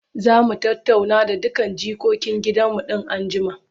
Za mu tattauna da dukkan jikokin gidanmu in an jima.